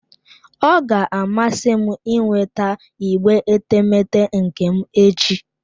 Ọ ga-amasị m ịnweta igbe etemeete nke m echi.